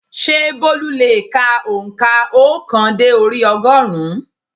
Sé Bólú le è ka ònkà óòkan dé orí ogórùn ún?